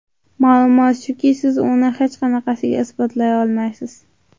Ma’lumot shuki, siz uni hech qanaqasiga isbotlay olmaysiz.